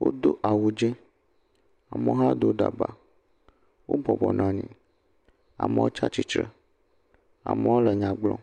wodo awu dze, amewo hã do daba, wobɔbɔ nɔ anyi, amewo tsatsitre, amewo le nya gblɔm.